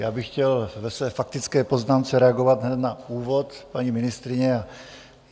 Já bych chtěl ve své faktické poznámce reagovat hned na úvod paní ministryně.